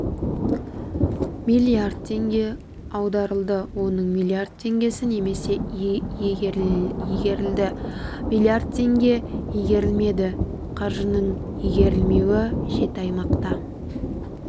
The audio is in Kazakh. миллиард теңге аударылды оның миллиард теңгесі немесе игерілді миллард теңге игерілмеді қаржының игерілмеуі жеті аймақта